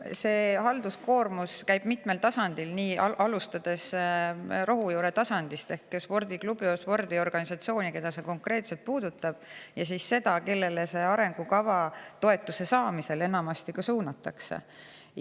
See halduskoormus on mitmel tasandil, alustades rohujuure tasandist ehk spordiklubist või spordiorganisatsioonist, keda see konkreetsemalt puudutab, ja sellega, kellel arengukava ja kellele toetus enamasti ka suunatakse.